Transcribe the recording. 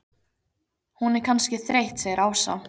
Hún er kannski þreytt segir Ása.